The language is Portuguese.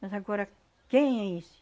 Mas agora, quem é esse?